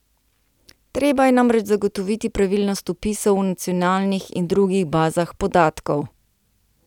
Treba je namreč zagotoviti pravilnost vpisov v nacionalnih in drugih bazah podatkov.